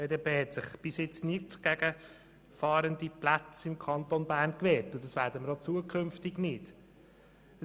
Die BDP hat sich bisher nicht gegen Fahrenden-Plätze im Kanton Bern gewehrt, und wir werden es auch künftig nicht tun.